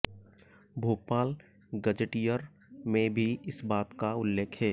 Bhopal gazetteer में भी इस बात का उल्लेख है